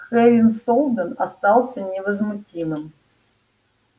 хэрин солдэн остался невозмутимым